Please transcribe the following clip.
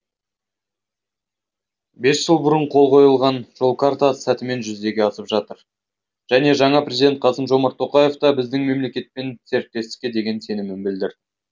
бес жыл бұрын қол қойылған жол картасы сәтімен жүзеге асып жатыр және жаңа президент қасым жомарт тоқаев та біздің мемлекетпен серіктестікке деген сенімін білдірді